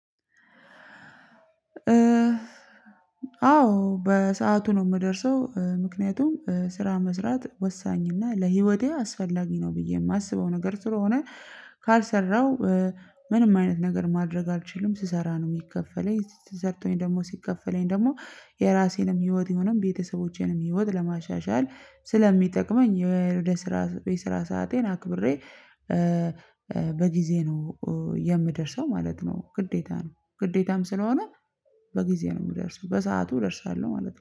አዎ በሰአቱ ነው የምደርሰው ምክንያቱም ስራ መስራት ወሳኝና ለህይወቴ አስፈላጊ ነው ብዬ የማስበው ነገር ስለሆነ። ካልሰራው ምንም አይነት ነገር ማድረግ አልችልም። ስሰራ ነው የሚከፈለኝ ሰርቶኝ ደግሞ ሲከፈለኝ ደግሞ የራሴንም ህይወት የሆነም ቤተሰቦቼንም ህይወት ለማሻሻል ስለሚጠቅመኝ የርዕድ ስራ የስራ ሰአቴን አክብሬ። በጊዜ ነው የምደርሰው ማለት ነው። ግዴታ ነው ግዴታም ስለሆነ። በጊዜ ነው የምደርሰው በሰአቱ እደርሳለሁ ማለት ነው